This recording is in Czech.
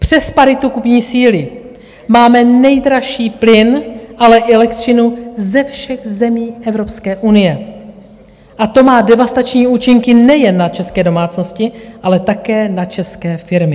Přes paritu kupní síly máme nejdražší plyn, ale i elektřinu ze všech zemí Evropské unie a to má devastační účinky nejen na české domácnosti, ale také na české firmy.